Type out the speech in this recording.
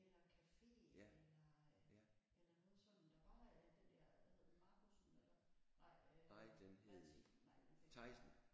Eller caféer eller eller noget sådan der var øh den der hvad hed den Markussen eller hvad nej øh Mathis nej nu kan jeg ikke huske det